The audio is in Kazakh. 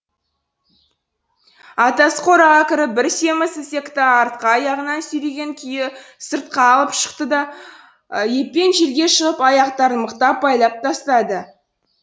атасы қораға кіріп бір семіз ісекті артқы аяғынан сүйреген күйі сыртқа алып шықты да еппен жерге жығып аяқтарын мықтап байлап тастады